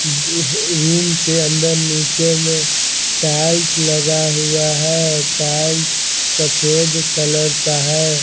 उम्म room के अंदर नीचे में टाइल्स लगा हुआ है टाइल्स सफेद कलर का है।